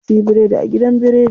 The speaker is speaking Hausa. Na suyi biredi a gidan biredi.